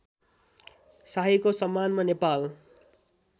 शाहीको सम्मानमा नेपाल